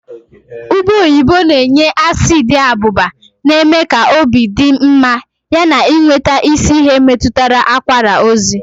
Ube oyibo na-enye asiidi abụba na-eme ka obi dị mma yana, ịnweta isi ihe metụtara akwara ozi.